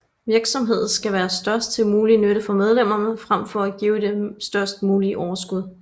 Virksomheden skal være til størst mulig nytte for medlemmerne frem for at give det størst mulige overskud